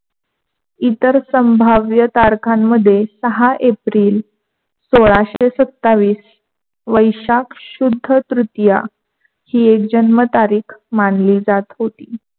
इतर संभाव्य तारखामध्ये सहा एप्रिल सोलाशे सत्ताव्वीस वैशाख शुद्ध तृतीय हि एक जन्म तारीख मानली जात होती.